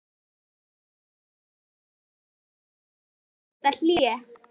Kristján: En hvers vegna þetta hlé?